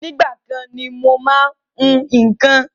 Ìgbà kan ni mo má ń hún nǹkan